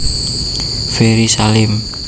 Ferry Salim